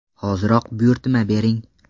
Hoziroq buyurtma bering!.